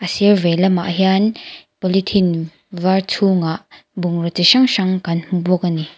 a sir vei lamah hian polythene var chhungah bungraw chi hrang hrang kan hmu bawk ani.